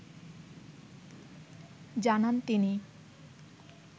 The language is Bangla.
জানান তিনি।